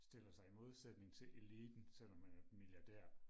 stiller sig i modsætning til eliten selvom man er milliardær